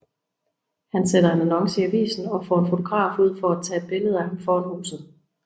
Han sætter en annonce i avisen og får en fotograf ud for at tage et billede af ham foran huset